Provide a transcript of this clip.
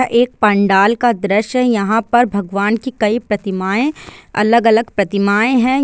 एक पंडाल का दृश्य है यहां पर भगवान की कई प्रतिमाये-- अलग -अलग प्रतिमाये है।